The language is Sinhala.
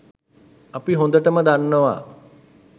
අපි හොඳටම දන්නවා